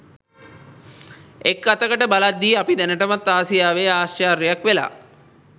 එක අතකට බලද්දි අපි දැනටමත් ආසියාවෙ ආශ්චර්යක් වෙලා